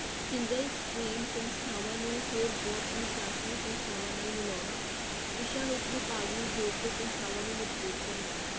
Single strain ਸੰਸਥਾਵਾਂ ਨੂੰ ਹੋਰ ਬਹੁ ਅਨੁਸਾਸਨੀ ਸੰਸਥਾਵਾਂ ਨਾਲ ਮਿਲਾਉਣਾ, ਵਿਸ਼ਿਆਂ ਵਿੱਚ ਵਿਭਾਗ ਨੂੰ ਜੋੜ ਕੇ ਸੰਸਥਾਵਾਂ ਨੂੰ ਮਜ਼ਬੂਤ ਕਰਨਾ।